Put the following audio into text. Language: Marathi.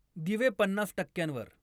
दिवे पन्नास टक्क्यांवर